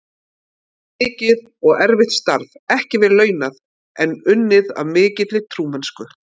Það var mikið og erfitt starf, ekki vel launað, en unnið af mikilli trúmennsku.